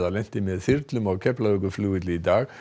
lenti með þyrlum á Keflavíkurflugvelli í dag